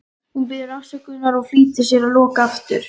Hún biður þá afsökunar og flýtir sér að loka aftur.